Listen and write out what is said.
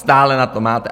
Stále na to máte!